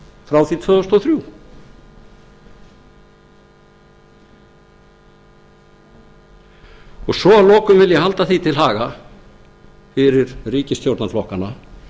frá því tvö þúsund og þrjú að lokum vil ég halda því til haga fyrir ríkisstjórnarflokkana